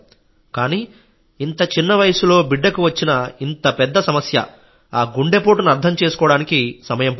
కానీ ఇంత చిన్న వయస్సులో బిడ్డకు వచ్చిన ఇంత పెద్ద సమస్య గుండెపోటును అర్థం చేసుకోవడానికి సమయం పట్టింది